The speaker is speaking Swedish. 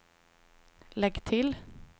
lägg till